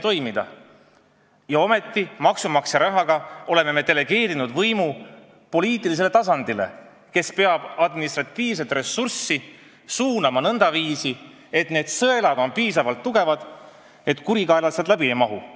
Ometi oleme maksumaksja raha kasutades delegeerinud võimu poliitilisele tasandile, kus tuleks administratiivset ressurssi suunata nõndaviisi, et sõelad oleks piisavalt tihedad ja tugevad, nii et kurikaelad sealt läbi ei mahuks.